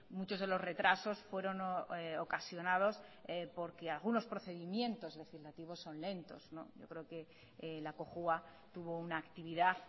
muchos de los retrasos fueron ocasionados porque algunos procedimientos legislativos son lentos yo creo que la cojua tuvo una actividad